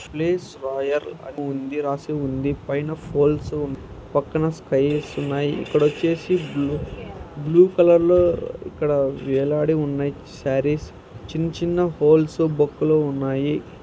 Fifty floors పై place రాయర్ అని నేమ్ ఉంది. రాసి ఉంది. పైన ఫోల్స్ ఉన్నాయ్ పక్కన స్కైయర్స్ ఉన్నాయ్. ఇక్కడచ్చేసి బ్లు బ్లూ కలర్ లో ఇక్కడ వేల --